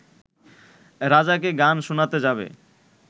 রাজাকে গান শোনাতে যাবে